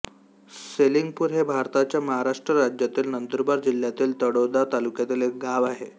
सेलिंगपूर हे भारताच्या महाराष्ट्र राज्यातील नंदुरबार जिल्ह्यातील तळोदा तालुक्यातील एक गाव आहे